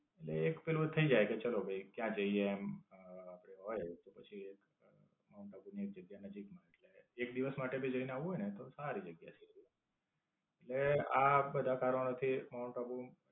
એટલે એક પેલું થાય જાય કે ચાલો ભાઈ ત્યાં જઇયે. આપડે હોય કે પછી માઉન્ટ આબુ ની જગ્યા નજીક માં આવી જાય. એક દિવસ માટે ભી જઈને આવવું હોય ને તો સારી જગ્યા છે. એટલે, આ બધા કારણો થી માઉન્ટ આબુ